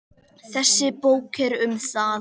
Þessi bók er um það.